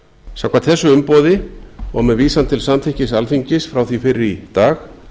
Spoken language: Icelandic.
samkvæmt þessu umboði og með vísan til samþykkis alþingis frá því fyrr í dag